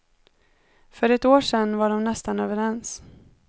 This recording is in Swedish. För ett år sedan var de nästan överens.